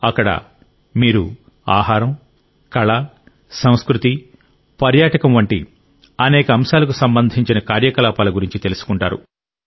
అక్కడ మీరు ఆహారం కళ సంస్కృతి పర్యాటకం వంటి అనేక అంశాలకు సంబంధించిన కార్యకలాపాల గురించి తెలుసుకుంటారు